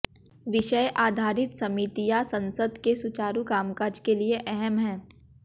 विषय आधारित समितियां संसद के सुचारु कामकाज के लिए अहम हैं